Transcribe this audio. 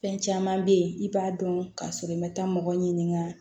Fɛn caman bɛ yen i b'a dɔn k'a sɔrɔ i ma taa mɔgɔ ɲininka